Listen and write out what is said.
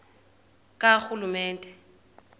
karhulumente